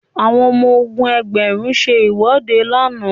àwọn ọmọ ogun ẹgbẹrun se iwọde làna